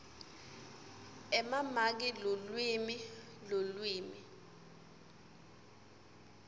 emamaki lulwimi lulwimi